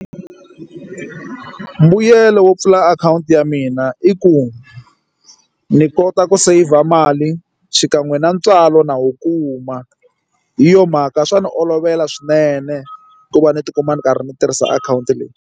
Mbuyelo wo pfula akhawunti ya mina i ku ni kota ku saver mali xikan'we na ntswalo na wu kuma hi yo mhaka swa ndzi olovela swinene ku va ni tikuma ni karhi ndzi tirhisa akhawunti leyi.